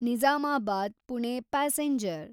Nizamabad Pune passenger